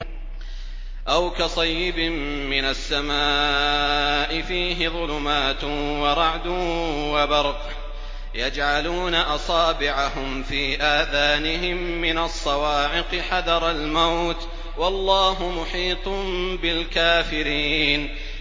أَوْ كَصَيِّبٍ مِّنَ السَّمَاءِ فِيهِ ظُلُمَاتٌ وَرَعْدٌ وَبَرْقٌ يَجْعَلُونَ أَصَابِعَهُمْ فِي آذَانِهِم مِّنَ الصَّوَاعِقِ حَذَرَ الْمَوْتِ ۚ وَاللَّهُ مُحِيطٌ بِالْكَافِرِينَ